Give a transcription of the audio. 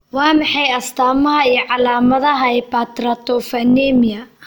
Waa maxay astaamaha iyo calaamadaha Hypertryptophanemia?